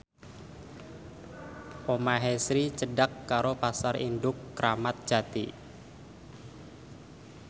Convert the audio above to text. omahe Sri cedhak karo Pasar Induk Kramat Jati